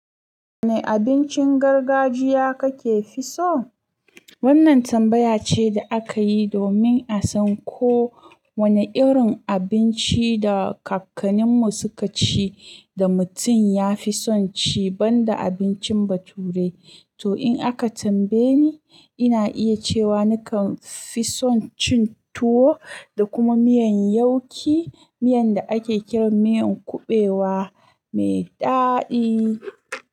Wanne abincin gargajiya kake fi so? Wannan tambaya ce da aka yi domin a san ko wanne irin abinci da kakannin mu suka ci da mutum ya fi son ci banda abincin baturai. To in aka tambaye ni, ina iya cewa nakan fi son cin tuwo da kuma miyan yauƙi, miyan da ake kiran miyan kuɓewa mai daɗi.